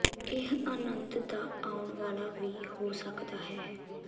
ਇਹ ਅਨੰਦ ਦਾ ਆਉਣ ਵਾਲਾ ਵੀ ਹੋ ਸਕਦਾ ਹੈ